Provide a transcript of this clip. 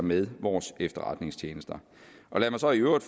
med vores efterretningstjenester og lad mig så i øvrigt